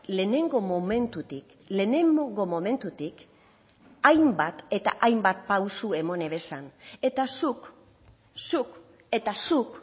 lehenengo momentutik lehenengo momentutik hainbat eta hainbat pausu emon ebazan eta zuk zuk eta zuk